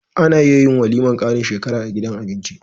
Ana iya yin walimar karin shekara a gidan abinci